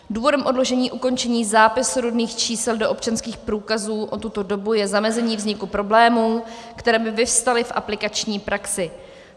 Důvodem odložení ukončení zápisu rodných čísel do občanských průkazů o tuto dobu je zamezení vzniku problémů, které by vyvstaly v aplikační praxi.